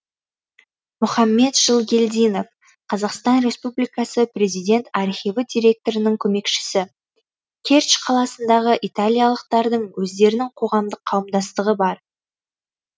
мұхаммед жылгелдинов қазақстан республикасы президент архиві директорының көмекшісі кертч қаласындағы италиялықтардың өздерінің қоғамдық қауымдастығы бар